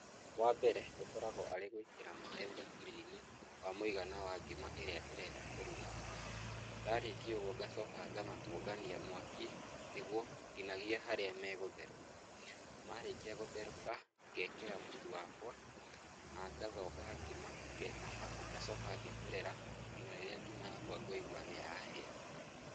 Wa mbere, gũkoragũo arĩ gũĩkĩra maĩ thabũria-inĩ wa mũigana wa ngima ĩrĩa ndĩrenda kũruga. Ndarĩkia ũguo ngacoka ngamatũngania mwaki nĩguo nginyagia harĩa megũtherũka. Marĩkia gũtherũka, ngekĩra mũtu wakwa, na ngathonga ngima, arabu ngacoka ngeterera nginya rĩrĩa ngima yakwa ngũigua nĩ yahia.